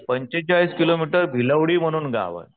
पंचेचाळीस किलोमीटर भिलवडी म्हणून एक गाव.